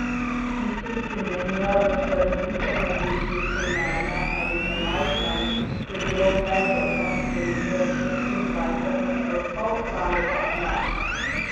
Tistih, ki menijo, da so razlike med ljudmi primerne ali premajhne, je bilo pred osamosvojitvijo šestindvajset odstotkov, lani pa enajst.